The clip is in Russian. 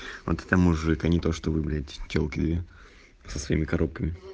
вот это мужик а не то что вы бля телки со своими коробками